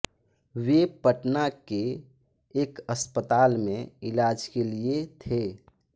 वे पटना के एक अस्पताल में इलाज के लिए थे